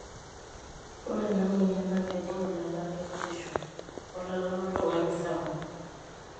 ore ena moyian naa kejing' ilala lekitisho olala loltung'ani ssapu